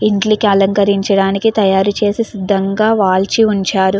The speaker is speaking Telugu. ఇంటికి అలంకరించడానికి తయారుచేసి సిద్ధంగా వాల్చి ఉంచారు.